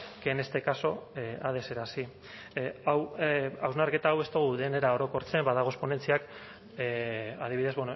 que en este caso ha de ser así hau hausnarketa hau ez dogu denera orokortzen badagoz ponentziak adibidez